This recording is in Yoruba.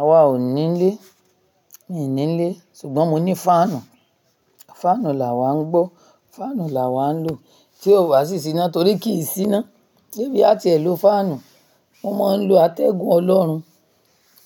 Awa ò ní ilé, mi ò ní ilé sùgbọ́n mo ní fáànù. Fáànù làwá ń gbọ́, fáànù làwá ń lò. Ti o bá sì sí iná torí kì í síná. Sé bí a ti ẹ lo fáànù, mo máa ń lo atẹ́gùn olorun.